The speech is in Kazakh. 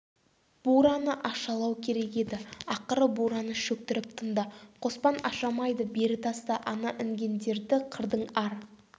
бураны ашалау керек еді ақыры бураны шөктіріп тынды қоспан ашамайды бері таста ана інгендерді қырдың ар